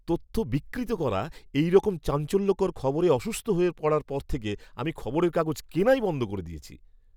তথ্য বিকৃত করা এইরকম চাঞ্চল্যকর খবরে অসুস্থ হয়ে পড়ার পর থেকে আমি খবরের কাগজ কেনাই বন্ধ করে দিয়েছি!